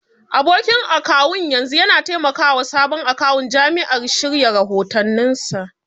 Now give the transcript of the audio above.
Abokin akawun yanzu yana taimakawa sabon akawun jami'a shirya rahotanninsa.